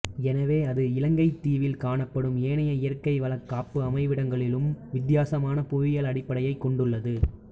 எனவே அது இலங்கைத் தீவில் காணப்படும் ஏனைய இயற்கை வளக் காப்பு அமைவிடங்களிலும் வித்தியாசமான புவியியல் அடிப்படையைக் கொண்டுள்ளது